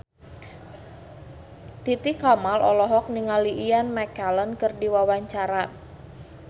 Titi Kamal olohok ningali Ian McKellen keur diwawancara